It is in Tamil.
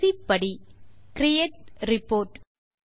கடைசி ஸ்டெப் கிரியேட் ரிப்போர்ட்